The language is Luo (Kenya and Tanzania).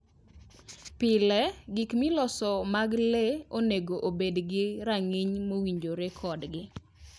Pile, gik miloso mag le onego obed gi rang'iny mowinjore kodgi.